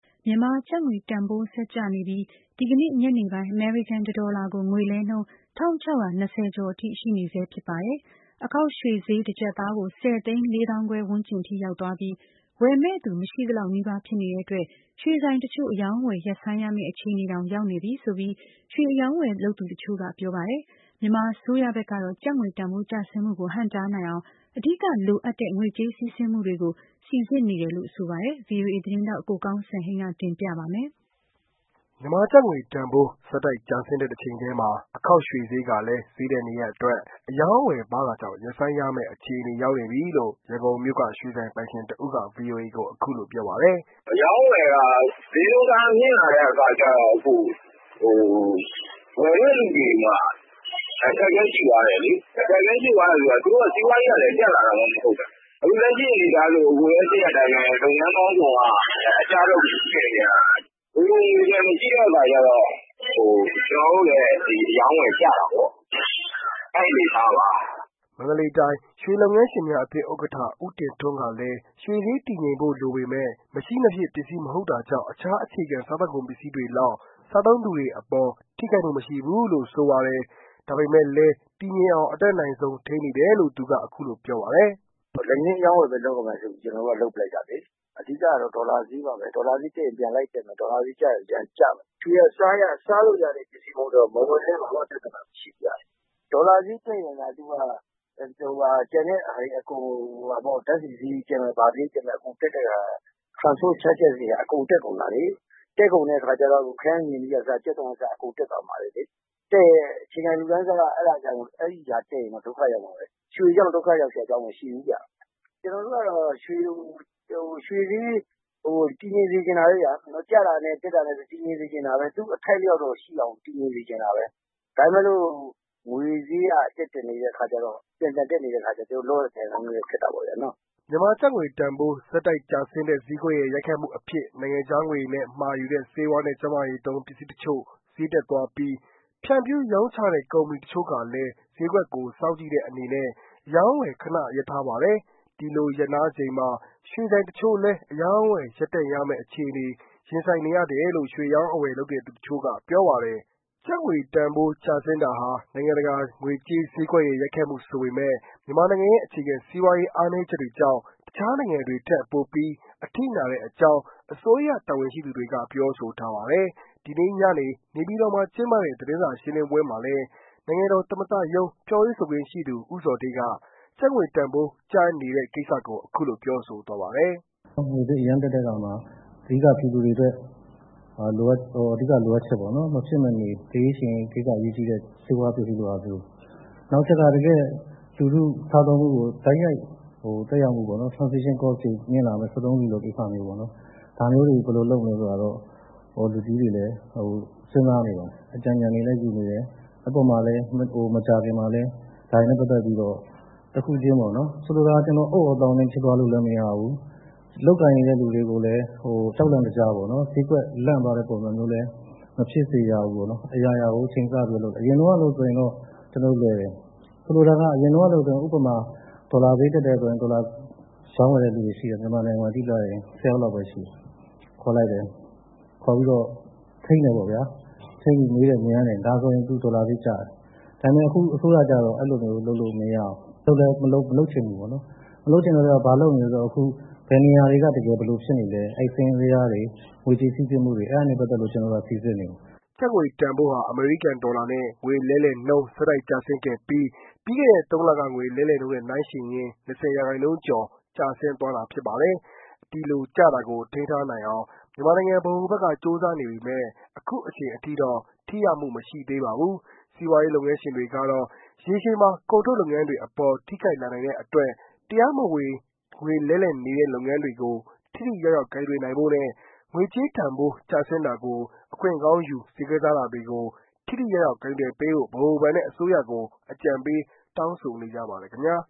မြန်မာကျပ်ငွေတန်ဖိုး ဆက်ကျနေပြီး ဒီနေ့ ညနေပိုင်း အမေရိကန် တဒေါ်လာကို ငွေလဲနှုန်း ၁၆၂၀ ကျော်အထိ ရှိနေဆဲဖြစ်ပါတယ်။ အခေါက်ရွှေဈေး တကျပ်သားကို ဆယ်သိန်း လေးသောင်းခွဲဝန်းကျင်အထိ ရောက်သွားပြီး ဝယ်မယ့်သူ မရှိသလောက် နီးပါး ဖြစ်နေတဲ့အတွက် ရွှေဆိုင်တချို့ အရောင်းအဝယ် ရပ်ဆိုင်းရမယ့် အခြေအနေတောင် ရောက်နေပြီဆိုပြီး ရွှေအရောင်းအဝယ်လုပ်သူ တချို့ ပြောပါတယ်။ မြန်မာအစိုးရဘက်ကတော့ ကျပ်ငွေတန်းဖိုး ကျဆင်းမှုကို ဟန့်တားနိုင်အောင် အဓိက လိုအပ်တဲ့ ငွေကြေးစီးဆင်းမှုတွေကို စီစစ်နေတယ်လို့ ဆိုပါတယ်။ VOA သတင်းထောက် ကိုကောင်းစံဟိန်းက တင်ပြပါလိမ့်မယ်။ မြန်မာကျပ်ငွေတန်ဖိုး ဆက်တိုက်ကျဆင်းတဲ့တချိန်တည်းမှာ အခေါက်ရွှေဈေးကလည်း ဈေးတက်နေတဲ့အတွက် အရောင်းအဝယ်ပါးတာကြောင့် ရပ်ဆိုင်းရမယ့်အခြေအနေ ရောက်နေပြီလို့ ရန်ကုန်မြို့က ရွှေဆိုင်ပိုင်ရှင်တဦးက VOA ကို ပြောပါတယ်။ “အရောင်းအဝယ်က ဈေးနှုန်းတအားမြင့်လာတဲ့ အခါကျတော့ ဝယ်တဲ့သူတွေမှာ အခက်အခဲရှိသွားတယ်လေ။ သူတို့က စီးပွားရေးက တက်လာတာမှမဟုတ်တာ အခုလက်ရှိမှာ လုပ်ငန်းပေါင်းစုံက အကျဘက်ကို ရောက်နေတာလေ။ငွေပိုငွေလျံ မရှိတဲ့အခါကျတော့ ကျနော်တို့လည်း အရောင်းအဝယ်ကျတာပေါ့။ အဲဒီအနေအထားပါ။” မန္တလေးတိုင်း ရွှေလုပ်ငန်းရှင်းများအသင်း ဥက္ကဋ္ဌ ဦးတင်ထွန်းကလည်း ရွှေဈေးတည်ငြိမ်ဖို့ လိုပေမယ့် မရှိမဖြစ် ပစ္စည်း မဟုတ်တာကြောင့် တခြား အခြေခံ စာကုန်ပစ္စည်းတွေလောက် စားသုံးသူတွေအပေါ် ထိခိုက်မှု မရှိဘူးလို့ ဆိုပါတယ်။ ဒါပေမဲ့လည်း တည်ငြိမ်အောင် အတတ်နိုင်ဆုံး ထိန်းနေတယ်ုလို့ သူက ဆိုပါတယ်။ “လက်ငင်းအရောင်းအဝယ်ဘဲ လုပ်ရမယ်ဆိုပီး ကျနော်တို့က လုပ်ပလိုက်တာလေ။အဓိကက ဒေါ်လာဈေးပါဘဲ။ ဒေါ်လာဈေးတက်ရင် ပြန်လိုက်တက်တယ် ဒေါ်လာဈေးကျရင် ပြန်ကျတယ်။ ရွှေက စားရတဲ့အရာမဟုတ်တော့ မဝယ်လည်းဘာမှ ပြဿနာမရှိဖူးဗျ။ ဒေါ်လာဈေးတက်ရင်သာအကုန် ဓါတ်ဆီဈေးတက်မယ် ဘာဈေးတက်မယ် transport charges တွေက တက်ကုန်တာလေ။ တက်ကုန်တဲ့ အခါကျတော့ ခရမ်းချဉ်သီးက အစ ကြက်သွန်က အစ အကုန်တက်တယ်။ တက်ရင် အခြေခံလူတန်းစားက အဲဒါတက်ရင်အကုန် ဒုက္ခရောက်ကုန်တယ်။ ရွှေကြောင့် ဒုက္ခရောက်စရာ အကြောင်းမရှိဖူးဗျ။ကျနော်တို့ကတော့ ရွှေဈေး တည်ငြိမ်စေချင်တာပါပဲဗျာ။ သူ့အထိုက်အလျောက်တော့ရှိအောင်တည်ငြိမ်စေချင်တာပဲ။ ဒါပေမဲ့လို့ ငွေဈေးက ပြန်ပြန်တက်တက်နေတဲ့ အခါကျတော့ လုပ်ရကိုင်ရ ခက်နေတာပေါ့။” မြန်မာကျပ်ငွေတန်ဖိုး ဆက်တိုက်ကျဆင်းတဲ့ ဈေးကွက်ရဲ့ ရိုက်ခတ်မှုအဖြစ် နိုင်ငံခြားငွေနဲ့ မှာယူတဲ့ ဆေးဝါးနဲ့ ကျန်းမာရေးသုံး ပစ္စည်းတချို့ ဈေးတက်သွားပြီး ဖြန့်ဖြူးရောင်းချတဲ့ ကုမ္မဏီတချို့ကလည်း ဈေးကွက်ကို စောင့်ကြည့်တဲ့အနေနဲ့ အရောင်းအဝယ် ခဏရပ်ထားပါတယ်။ ဒီလို ရပ်နားချိန်မှာ ရွှေဆိုင်တချို့လည်း အရောင်းအဝယ် ရပ်တန့်ရမယ့် အခြေအနေ ရင်ဆိုင်နေရတယ်လို့ ရွှေအရောင်းအဝယ်လုပ်သူတချို့က ပြောဆိုတာပါ။ ကျပ်ငွေတန်ဖိုးကျဆင်းတာဟာ နိုင်ငံတကာငွေကြေးဈေးကွက်ရဲ့ ရိုက်ခတ်မှု ဆိုပေမယ့် မြန်မာနိုင်ငံရဲ့ အခြေခံစီးပွားရေး အားနည်းချက်တွေကြောင့် တခြားနိုင်ငံတွေထက် ပိုပြီး အထိနာတဲ့အကြောင်း အစိုးရတာဝန်ရှိသူတွေက ပြောဆိုထားပါတယ်။ ဒီနေ့ ညနေ နေပြည်တော်မှာ ကျင်းပတဲ့သတင်းစာရှင်းလင်းပွဲမှာလည်း နိုင်ငံတော် သမ္မတရုံး ပြောရေးဆိုခွင့်ရှိသူ ဦးဇော်ဌေးက ကျပ်ငွေတန်းဖိုး ကျနေတဲ့ ကိစ္စကို အခုလို ပြောဆိုသွားပါတယ်။ “ငွေဈေးအရမ်းတက်တဲ့အခါမှာ အဓိကပြည်သူတွေအတွက် အဓိကလိုအပ်ချက်ပေါ့နော်။ မဖြစ်မနေလိုအပ်တဲ့ ဆေးဝါးပစ္စည်းလိုဟာမျိုး၊ နောက်တချက်က လူထုစားသောက်မှုကိုတိုက်ရိုက် သက်ရောက်စေမဲ့ Transaction Cost တွေမြင့်လာမယ့် စက်သုံးဆီလိုဟာမျိုးပေါ့နော် ဒါမျိုးတွေကို ဘယ်လိုလုပ်ရမလဲဆိုတာကိုတော့ လူကြီးတွေလည်း စဉ်းစားနေပါတယ်၊ အကြံဉာဏ်တွေလည်းယူနေတယ်။ အဲဒီပေါ်မှာလည်း မကြာခင်မှာလည်း ဒါတွေနဲ့ပက်သက်ပီး တခုချင်း ဆိုလိုတာက အုတ်သြောသောင်းနင်း ဖြစ်သွားလို့လည်း မရဘူး။ လုပ်ကိုင်နေတဲ့သူတွေကိုလည်း ကြောက်လန့်တကြား ဈေးကွက်လန့်သွားမဲ့ ပုံစံမျိုးနဲ့ မဖြစ်စေရဘူး ပေါ့နော်။ အရာရာကိုချိန်ဆပြီးတော့ လုပ်တယ်။ အရင်တုန်းကလိုဆိုရင်တော့ လွယ်တယ်။ အရင်တုန်းကဆိုရင်ဥပမာ ဒေါ်လာဈေးတက်တယ်ဆိုရင် ဒေါ်လာရောင်းဝယ်နေတဲ့သူတွေ မြန်မာနိုင်ငံမှာကြည့်လိုက်ရင် ၁၀ယောက်လောက်ပဲ ရှိတယ်။ အဲဒီလူတွေကို ခေါ်ပီးတော့ ထိန်းတယ်ပေါ့ဗျာ။ ထိန်းပြီး မေးတယ် မြန်းတယ် ဒါဆိုရင် ဒေါ်လာဈေးကျတယ်။ဒါပေမဲ့ အခုအစိုးရကျတော့ အဲ့လိုမျိုး လုပ်လို့မရဖူး။ အဲဒီလိုလဲ မလုပ်ချင်ဘူး ပေါ့နော်။ မလုပ်ချင်တဲ့အတွက်ကြောင့် ဘာလုပ်နေသလဲဆိုတော့အခု ဘယ်နေရာ ဘာတွေဖြစ်နေသလဲဆိုတာ စာရင်းဇယားတွေ ငွေကြေးစီးဆင်းမူတွေ အဲဒါတွေနဲ့ပတ်သက်ပြီးတော့ စီစစ်နေတယ်။” ကျပ်ငွေတန်ဖိုးဟာ အမေရိကန် ဒေါ်လာနဲ့ ငွေလဲနှုန်း ဆက်တိုက်ကျဆင်းခဲ့ပြီး ပြီးခဲ့တဲ့ သုံးလက ငွေလဲနှုန်းနဲ့ နိုင်းယှဉ်ရင်၊ ၂၀ ရာခိုင်နှုန်းကျော် ကျဆင်းသွားတာဖြစ်ပါတယ်။ ဒီလို ကျတာကို ထိန်းထားနိုင်အောင် မြန်မာနိုင်ငံ ဗဟိုဘဏ်က ကြိုးစားနေပေမဲ့ အခုအချိန်အထိတော့ ထိရောက်မှု မရှိသေးပါဘူး။ စီးပွားရေးလုပ်ငန်းရှင်တွေကတော့ ရေရှည်မှာ ကုန်ထုတ်လုပ်ငန်းတွေအပေါ် ထိခိုက်လာနိုင်တဲ့အတွက် တရားမဝင် ငွေလှဲလှယ်နေတဲ့ လုပ်ငန်းတွေကို ထိထိရောက်ရောက် ကိုင်တွယ်ဖို့နဲ့၊ ငွေကျေးတန်ဖိုး ကျဆင်းတာကို အခွင့်ကောင်းယူ ဈေးကစားတာတွေကို ထိထိရောက်ရောက် ကိုင်တွယ်ပေးဖို့ ဗဟိုဘဏ်နဲ့ အစိုးရကို အကြံပေး တောင်းဆိုနေကြပါတယ်ခင်ဗျာ